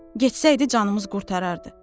Getsəydi canımız qurtarardı.